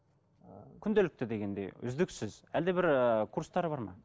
ыыы күнделікті дегендей үздіксіз әлде бір ыыы курстары бар ма